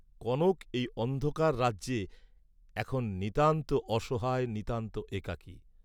কনক এই অন্ধকার রাজ্যে এখন নিতান্ত অসহায় নিতান্ত একাকী।